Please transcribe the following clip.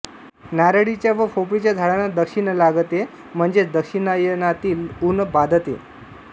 नारळीच्या व पोफळीच्या झाडांना दक्षिण लागते म्हणजे दक्षिणायनातील ऊन बाधते